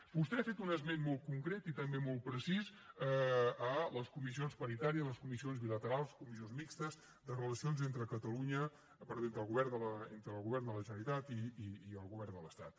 vostè ha fet un esment molt concret i també molt precís de les comissions paritàries les comissions bilaterals les comissions mixtes de relacions entre el govern de la generalitat i el govern de l’estat